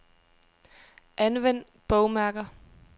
Anvend bogmærker.